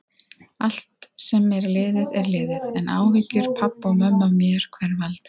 Allt sem er liðið er liðið, en áhyggjur pabba og mömmu af mér hverfa aldrei.